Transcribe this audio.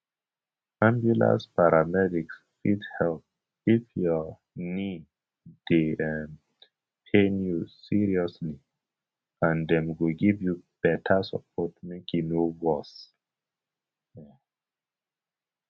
ambulance paramedics fit help if your knee dey um pain you seriously and dem go give you better support make e no worse um